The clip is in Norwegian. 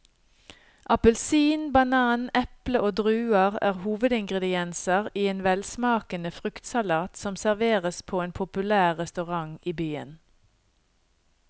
Appelsin, banan, eple og druer er hovedingredienser i en velsmakende fruktsalat som serveres på en populær restaurant i byen.